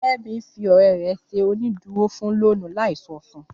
Fẹ́mi fi ọ̀rẹ́ rẹ̀ ṣe onídùúró fún lóònù láì sọ fun